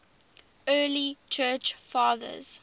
early church fathers